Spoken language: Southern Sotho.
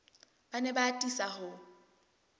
ba ne ba atisa ho